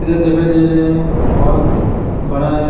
इधर दिखाई दे रहे हैं बोहोत बड़ा एक --